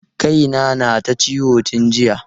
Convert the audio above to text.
Kai na na ta ciwo tun jiya.